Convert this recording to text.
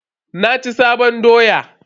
Na ci sabon doya.